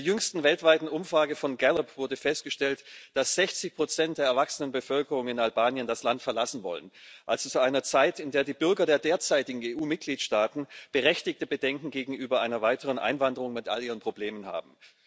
In der jüngsten weltweiten Umfrage von Gallup wurde festgestellt, dass 60 der erwachsenen Bevölkerung in Albanien das Land verlassen wollen, zu einer Zeit, in der die Bürger der derzeitigen EU Mitgliedstaaten berechtigte Bedenken gegenüber einer weiteren Einwanderung mit all ihren Problemen haben.